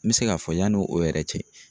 N mi se k'a fɔ yanni o yɛrɛ cɛ